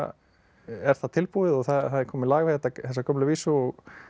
er það tilbúið og það er komið lag við þessa gömlu vísu og